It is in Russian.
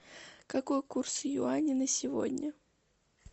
какой курс юаня на сегодня